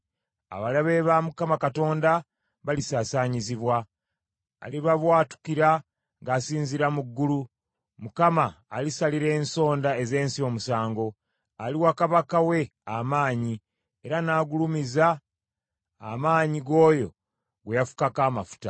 Abalabe ba Mukama Katonda balisaasaanyizibwa; alibabwatukira ng’asinziira mu ggulu. Mukama alisalira ensonda ez’ensi omusango; aliwa kabaka we amaanyi, era n’agulumiza amaanyi g’oyo gwe yafukako amafuta.